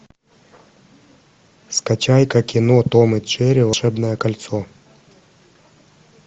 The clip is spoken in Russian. скачай ка кино том и джерри волшебное кольцо